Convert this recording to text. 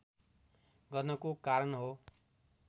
गर्नको कारण हो